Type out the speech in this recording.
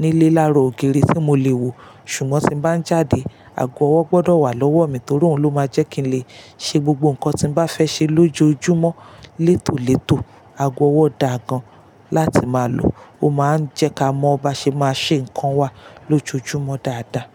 nílé lára ògiri tí mo lè wò. Ṣùgbọ́n tí n bá ń jáde, ago ọwọ́ gbọdọ̀ wà lọ́wọ́ mi torí òun ló máa jẹ́ kí n lè ṣe gbogbo nǹkan tí mo bá fẹ́ ṣe lójoojúmọ́ létòlétò. Ago ọwọ́ dà gan-an láti máa lò, ó máa ń jẹ́ ká mọ bá ṣe máa ṣe nǹkan wa lójoojúmọ́ dáadáa.